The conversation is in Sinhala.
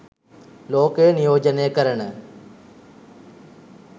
ලෝකය නියෝජනය කරන